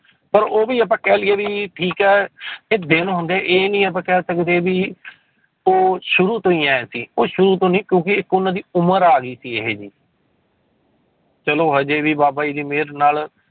ਪਰ ਉਹ ਵੀ ਆਪਾਂ ਕਹਿ ਲਈਏ ਵੀ ਠੀਕ ਹੈ ਕਿ ਦਿਨ ਹੁੰਦੇ, ਇਹ ਨੀ ਆਪਾਂ ਕਹਿ ਸਕਦੇ ਵੀ ਉਹ ਸ਼ੁਰੂ ਤੋਂ ਹੀ ਇਉਂ ਸੀ, ਉਹ ਸ਼ੁਰੂ ਤੋਂ ਨੀ ਕਿਉਂਕਿ ਇੱਕ ਉਹਨਾਂ ਦੀ ਉਮਰ ਆ ਗਈ ਸੀ ਇਹ ਜਿਹੀ ਚਲੋ ਹਜੇ ਵੀ ਬਾਬਾ ਜੀ ਦੀ ਮਿਹਰ ਨਾਲ